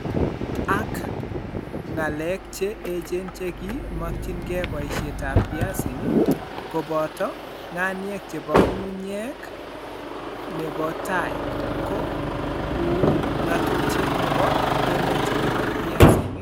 Ak ng'aleek che eecheen che ki makyingei poisyetap piasinik, kobooto: ng'aniek che po ng'atuutyet ne po tai, ko uu ng'atuutyet ne po emet ne po piasnik.